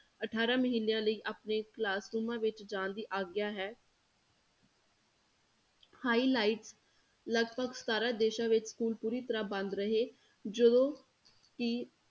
ਅਠਾਰਾਂ ਮਹੀਨਿਆਂ ਲਈ ਆਪਣੇ classrooms ਵਿੱਚ ਜਾਣ ਦੀ ਆਗਿਆ ਹੈ highlight ਲਗਪਗ ਸਤਾਰਾਂ ਦੇਸਾਂ ਵਿੱਚ school ਪੂਰੀ ਤਰ੍ਹਾਂ ਬੰਦ ਰਹੇ ਜਦੋਂ ਕਿ